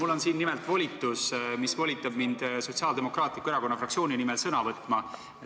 Mul on siin nimelt volitus, mis volitab mind Sotsiaaldemokraatliku Erakonna fraktsiooni nimel sõna võtma.